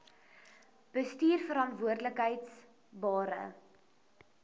bestuurverantwoordbare